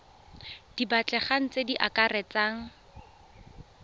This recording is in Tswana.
di batlegang tse di akaretsang